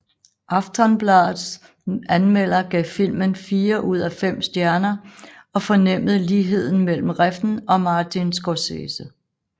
Aftonbladets anmelder gav filmen fire ud af fem stjerner og fornemmede ligheder mellem Refn og Martin Scorcese